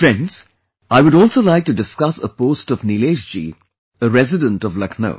Friends, I would also like to discuss a post of Nilesh ji, a resident of Lucknow